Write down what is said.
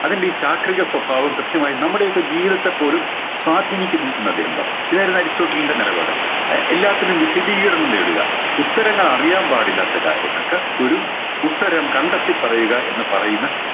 അതിൻറെ ഈ ചാക്രിക സ്വഭാവം കൃത്യമായി നമ്മുടെയൊക്കെ ജീവിതത്തെ പോലും സ്വാധീനിക്കുന്നു എന്നദ്ദേഹം പറഞ്ഞു ഇതായിരുന്നു അരിസ്റ്റോട്ടിലിൻറെ നിലപാട് അഹ് എല്ലാത്തിനും വിശദീകരണം നേടുക ഉത്തരങ്ങൾ അറിയാൻ പാടില്ലാത്ത കാര്യങ്ങൾക്ക് ഒരു ഉത്തരം കണ്ടെത്തി പറയുക എന്ന് പറയുന്ന